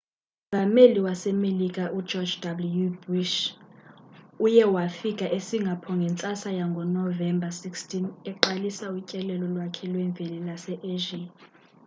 umongameli wasemelika ugeorge w bush uye wafika esingapore ngentsasa yangonovember 16 eqalisa utyelelo lwakhe lweveki lwase-asia